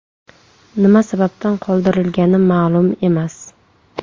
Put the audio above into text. Nima sababdan qoldirilgani ma’lum emas.